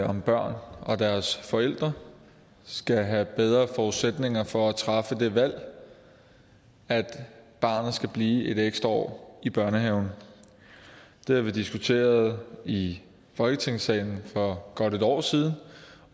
om børn og deres forældre skal have bedre forudsætninger for at træffe det valg at barnet skal blive et ekstra år i børnehaven det har vi diskuteret i folketingssalen for godt et år siden